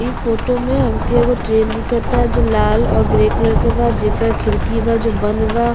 ई फोटो में हमके एगो ट्रेन दीखता जो लाल और ग्रे कलर के बा। जेकर खिड़की बा जो बंद बा।